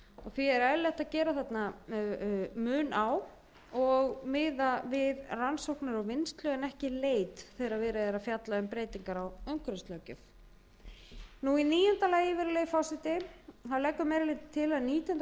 því er eðlilegt að gera þarna mun á og miða við rannsóknir og vinnslu en ekki leit þegar verið er að fjalla um breytingar á umhverfislöggjöf í níunda lagi virðulegi forseti leggur meiri hlutinn að nítjánda